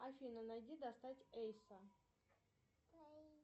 афина найди достать эйса